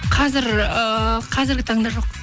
қазір ыыы қазіргі таңда жоқ